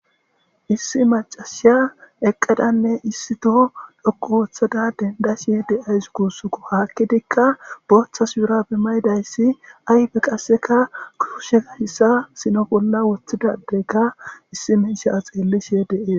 Issi maciya eqada issi to dhoqu histada demdashe de'aws gusako hakidika botha shubare mayidaysi ayfe qaseka kushezaysa sino bola wothida adey izika issi misha xelishe de'es